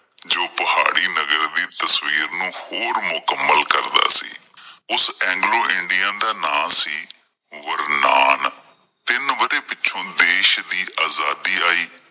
ਜੋ ਪਹਾੜੀ ਨਗਰ ਦੀ ਤਸਵੀਰ ਨੂੰ ਹੋਰ ਵੀ ਮੁਕੰਮਲ਼ ਕਰਦਾ ਸੀ ਉਸ ਐਗਲੋ ਇੰਡੀਅਨ ਦਾ ਨਾਮ ਸੀ ਗੁਰਨਾਨ, ਤਿੰਨ ਵਰੇ ਪਿੱਛੋਂ ਦੇਸ਼ ਦੀ ਅਜ਼ਾਦੀ ਆਈ